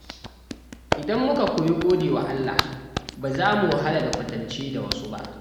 Idan muka koyi gode wa Allah, ba za mu wahala da kwatance da wasu ba.